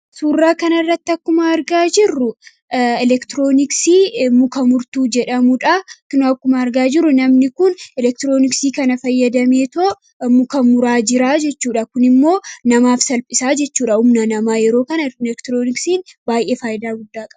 suuraa kana irratti akkuma argaa jirru elektirooniksii muka murtuu jedhamudha n kkuma argaa jirru namni kun elektirooniksii kana fayyadameetoo mukamuraa jiraa jechuudha kun immoo namaaf salphisaa jechuudha umna namaa yeroo kana elektirooniksiin baay'ee faayyida guddaa qaba.